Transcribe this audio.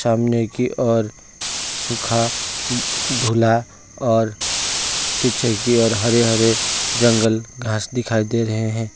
सामने की ओर सुखा धूला और पीछे की ओर हरे हरे जंगल घास दिखाई दे रहे है।